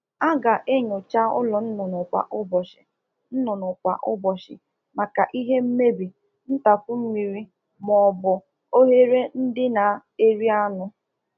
Ụlọ ọkụkọ kwesịrị ka a na enyocha ha maka ihe mmebi, mmiri ohihi ma ọbụ oghere.